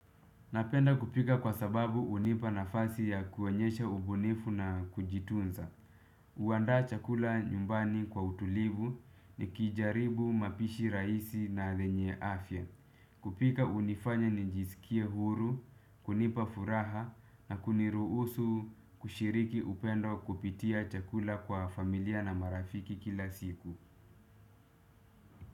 Napenda kupika kwa sababu hunipa nafasi ya kuonyesha ubunifu na kujitunza. Uandaa chakula nyumbani kwa utulivu nikijaribu mapishi raisi na lenye afya. Kupika unifanya nijiskie huru, kunipa furaha na kuniruhusu kushiriki upendo kupitia chakula kwa familia na marafiki kila siku.